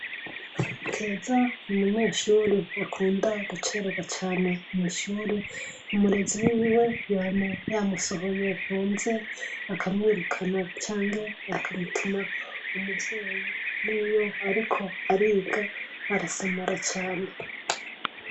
Keza n'umunyeshure akunda guceregwa cane mw'ishure. Umurezi wiwe yama yamusohoye hanze akamwirukana canke akamutuma umuvyeyi. Niyo ariko ariga arasamara cane.